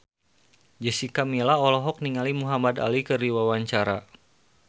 Jessica Milla olohok ningali Muhamad Ali keur diwawancara